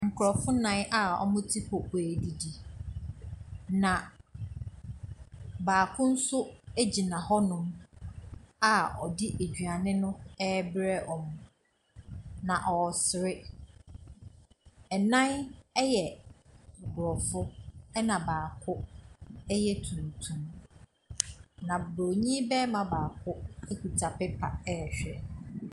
Nkrɔfoɔ nan ɔmɔ te popoa ɛdidi na baako gyina hɔ nom a ɔdi aduane no bere ɔmɔ na ɔsere ɛnan yɛ aborɔfo ɛna baako yɛ tuntum na borɔni barima baako kuta paper ɛhwɛ.